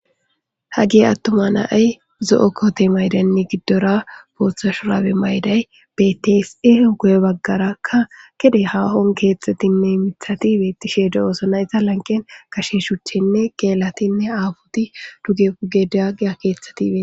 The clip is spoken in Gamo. hagi attuma na7ay zo7o koote maydaynne giddora booththa shuraabe mayday betese hogoye baggarakka gede haahon keeththatinne mithati beettishe de7oosonaita lanqen kashinshuchenne geelatinne aabuti dugepugedaagiya keeththatibe